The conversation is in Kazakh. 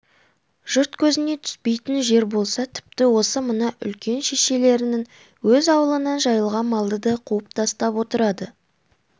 жұрт көзіне түспейтін жер болса тіпті осы мына үлкен шешелерінің өз аулынан жайылған малды да қуып тастап отырады